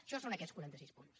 això són aquests quaranta sis punts